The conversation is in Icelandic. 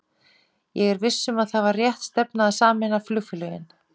Ég er viss um að það var rétt stefna að sameina flugfélögin.